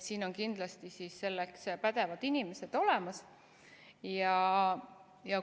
Siin on kindlasti selleks pädevad inimesed olemas.